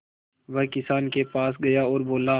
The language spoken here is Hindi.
वह किसान के पास गया और बोला